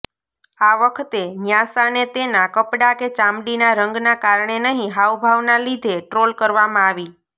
આ વખતે ન્યાસાને તેના કપડાં કે ચામડીના રંગના કારણે નહીં હાવભાવના લીધે ટ્રોલ કરવામાં આવી